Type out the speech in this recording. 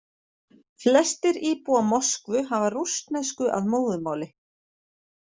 Flestir íbúa Moskvu hafa rússnesku að móðurmáli.